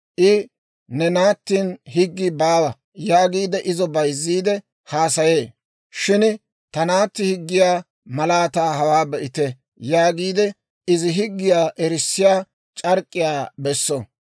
I, «Ne naattin higgii baawa» yaagiide izo bayzziide haasaye; shin ta naatti higgiyaa malaataa hawaa be'ite› yaagiide, izi higgiyaa erissiyaa c'ark'k'iyaa besso.